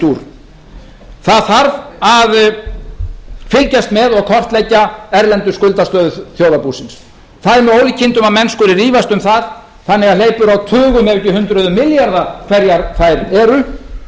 dúr það þarf að fylgjast með og kortleggja erlenda skuldastöðu þjóðarbúsins það er með ólíkindum að menn skuli rífast um það þannig að hleypur á tugum ef ekki hundruðum milljarða hverjar þær eru